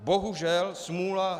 Bohužel, smůla.